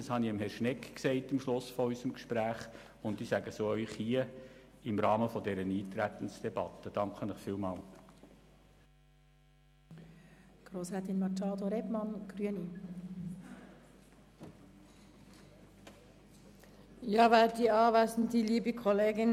Dies habe ich Herrn Schnegg am Schluss unseres Gesprächs gesagt, und ich sage es auch Ihnen hier im Rahmen dieser Eintretensdebatte.